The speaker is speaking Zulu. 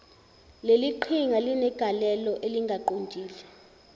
leliqhinga linegalelo elingaqondile